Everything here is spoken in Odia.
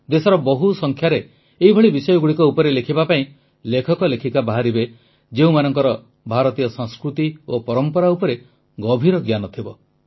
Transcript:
ଦେଶରେ ବହୁ ସଂଖ୍ୟାରେ ଏଭଳି ବିଷୟଗୁଡ଼ିକ ଉପରେ ଲେଖିବା ପାଇଁ ଲେଖକଲେଖିକା ବାହାରିବେ ଯେଉଁମାନଙ୍କର ଭାରତୀୟ ସଂସ୍କୃତି ଓ ପରମ୍ପରା ଉପରେ ଗଭୀର ଜ୍ଞାନ ଥିବ